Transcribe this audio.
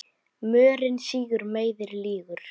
Mörinn sýgur, meiðir, lýgur.